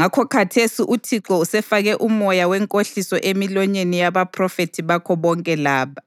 Ngakho khathesi uThixo usefake umoya wenkohliso emilonyeni yabaphrofethi bakho bonke laba.